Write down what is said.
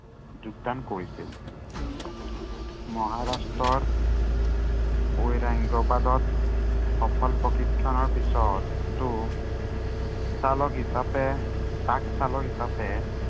যোগদান কৰিছিল। মহাৰাষ্ট্ৰৰ ঔৰাংগাবাদত সফল প্ৰশিক্ষণৰ পিছতো চালক হিচাপে, ট্ৰাক চালক হিচাপে